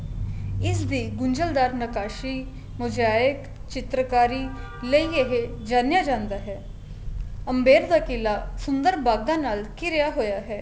ਇਸ ਦੀ ਗੁੰਜਲਦਾਰ ਨਿਕਾਸ਼ੀ ਮੁਜਾਇਕ ਚਿਤ੍ਰਕਾਰੀ ਲਈ ਇਹ ਜਾਣਿਆ ਜਾਂਦਾ ਹੈ ਅਮਬੇਦਕਰ ਕਿਲਾ ਸੁੰਦਰ ਬਾਗਾ ਨਾਲ ਖਿੜਿਆ ਹੋਇਆ